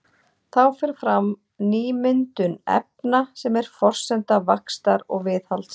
Þá fer fram nýmyndun efna sem er forsenda vaxtar og viðhalds.